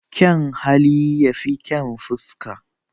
Kyan hali ya fi kyan fuska